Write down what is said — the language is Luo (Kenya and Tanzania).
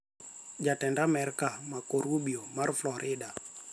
Jatend Amerka Marco Rubio mar Florida